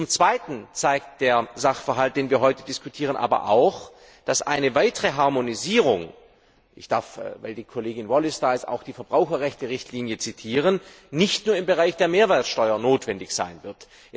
Zum Zweiten zeigt der Sachverhalt, den wir heute diskutieren, aber auch, dass eine weitere Harmonisierung ich darf, weil die Kollegin Wallis anwesend ist, auch die Verbraucherrechte Richtlinie zitieren nicht nur im Bereich der Mehrwertsteuer notwendig sein wird.